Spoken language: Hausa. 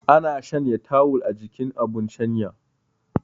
Ana shanya tawul a jikin abun shanya